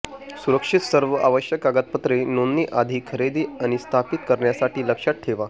सुरक्षित सर्व आवश्यक कागदपत्रे नोंदणी आधी खरेदी आणि स्थापित करण्यासाठी लक्षात ठेवा